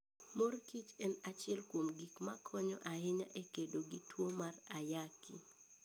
Mor Kich en achiel kuom gik makonyo ahinya e kedo gi tuwo mar ayaki.